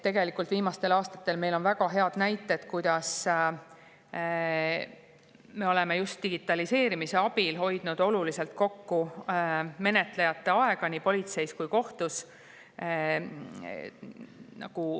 Tegelikult on viimastel aastatel meil olnud väga häid näiteid, kuidas me oleme just digitaliseerimise abil hoidnud oluliselt kokku menetlejate aega nii politseis kui ka kohtus.